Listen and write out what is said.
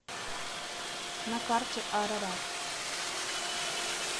на карте арарат